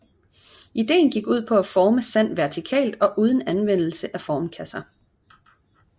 Ideen gik ud på at forme sand vertikalt og uden anvendelse af formkasser